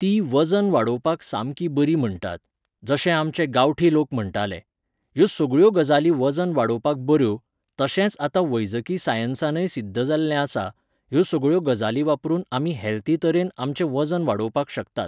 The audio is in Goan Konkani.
तीं वजन वाडोवपाक सामकी बरीं म्हणटात, जशें आमचे गांवठी लोक म्हणटाले. ह्यो सगळ्यो गजाली वजन वाडोवपाक बऱ्यो, तशेंच आतां वैजकी सायन्सानय सिध्द जाल्लें आसा, ह्यो सगळ्यो गजाली वापरून आमी हेल्थी तरेन आमचें वजन वाडोवपाक शकतात